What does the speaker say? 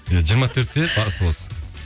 иә жиырма төртте басы бос